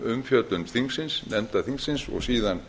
umfjöllun þingsins nefnda þingsins og síðan